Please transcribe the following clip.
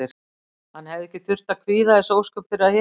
Hann hefði ekki þurft að kvíða þessi ósköp fyrir að hitta hana.